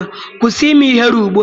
Kwụsị ime ihere ugbua!